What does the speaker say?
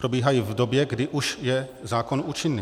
Probíhají v době, kdy už je zákon účinný.